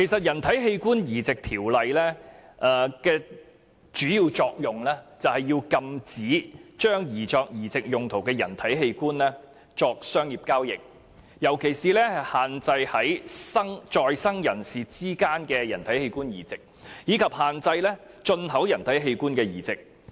《人體器官移植條例》的主要作用是禁止將擬作移植用途的人體器官作商業交易，尤其是限制在生人士之間的人體器官移植，以及限制進口人體器官的移植。